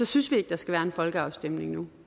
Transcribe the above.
synes vi ikke der skal være en folkeafstemning